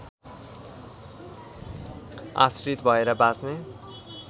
आश्रित भएर बाँच्ने